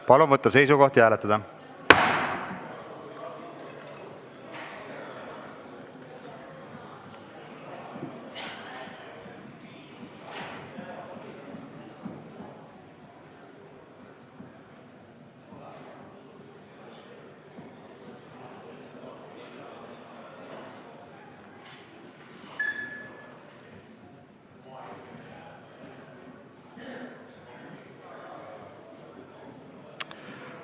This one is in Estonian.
Palun võtta seisukoht ja hääletada!